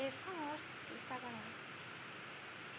Era só nós que estávamos lá.